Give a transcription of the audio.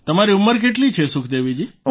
તમારી ઉંમર કેટલી છે સુખદેવીજી